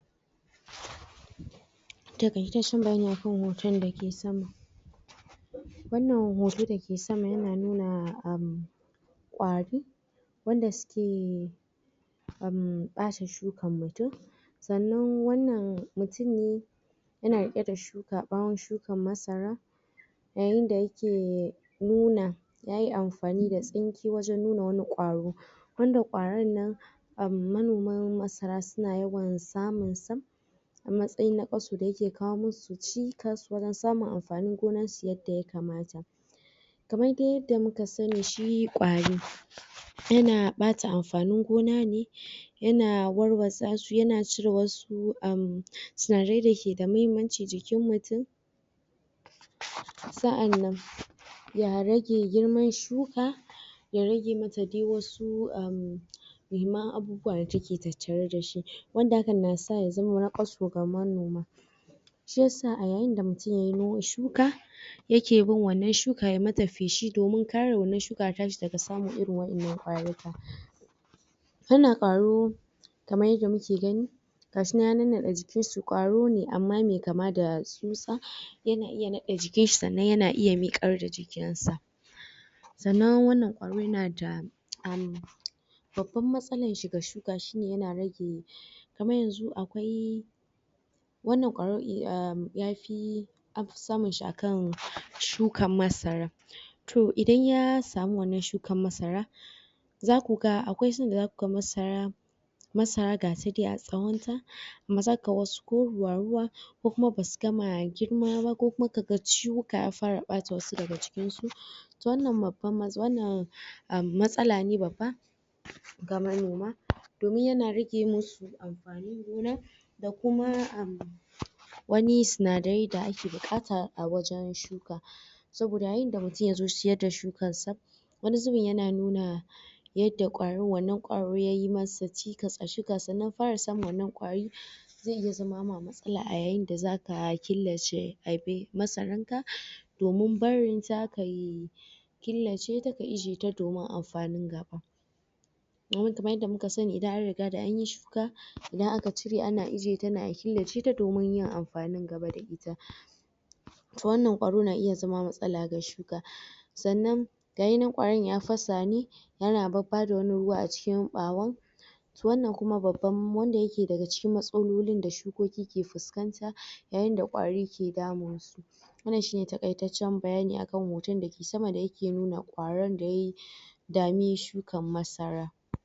takaitacen bayani akan hotn da ke sama wannan hoton da ke sama ya na nuna um kwari wanda su ke um bacin shukan mutum sannan wannan mutum ne ya na rike da shuka bawon shukan masara yayin da ya ke nuna ya yi amfani da sinke wajen nuna wani kwaro wanda kwarin nan um manoman masara su na yawan samun sa a matsayi na? da ya ke kawo mu su cikas wajen samun amfanin gonan su yadda ya kamata kamar dai yadda mu ka sani shi kwari ya na bata amfanin gona ne yana warwasa su ya na cire wasu um sinarai da ke da muhimmanci jikin mutum sa'annan ya rage girman shuka ya rage dai mata wasu um muhimman abubuwa da ta ke tattare da shi wanda akan na sa ya zama? su ga manoma shi ya sa a yayin da mutum ya yi noman shuka ya ke bin wannan shuka ya mata fesi domin kare wannan shuka ya tashi daga samun irin wayannan kwaruruka wannan kwaro kamar yadda muke gani gashi nan ya nannade jikin su kwaro ne amma amma mai kama da tsutsa yana iya nade jikin shi sannan ya na iya mikar da jikin sa sannan wannan kwaron ya na da um babban masalan shi ga shuka shi ne yana rage kamar yanzu akwai wannan kwaron um ya fi samun shi a kan shukan masara toh idan ya samu wannan shukan masara za ku ga akwai san da za ku ga masara masara ga ta dai a tsawon ta amma za ka ga wasu ko ruwa ruwa ko kuma ba su gama girma ba ko kuma ka ga shuka ya fara bata wasu daga cikin su ita wannan babban wannan um matsala ne babba ga manoma domin ya na rage musu amfanin gona da kuma um wani sinadiri da ake bukataa wajen shuka soboda yayin da mutum ya zo ciyar da shukan sa wani zubin yana nuna yadda kwarin wannan kwari yayi masa cikas a shuka sannan fara samun wannan kwari zai iya zama ma masala a yayin da za ka killace? masaran ka domin barin ta ka yi killace ta ka ijiye ta domin amfanin gaba? kamar yadda muka sani da an riga da an yi idan aka cire ana ijiye ta ne a killace ta domin yin amfanin gaba da ita ita wannan kwaron na iya zama masala ga shuka sannan ga shi na kwarin ya fasa ne ya na babada wani ruwa a cikin bawon ita kuma wannan babban wanda yake daga cikin masololi da shukoki ke fuskanta yayin da kwari ke damin su wannan shi ne takaitacen bayani a kan hoton da ke sama da yake nuna kwaron da ya dami shukan masara